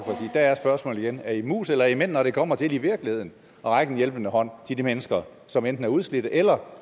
der er spørgsmålet igen er i mus eller er i mænd når det kommer til i virkeligheden at række en hjælpende hånd til de mennesker som enten er udslidte eller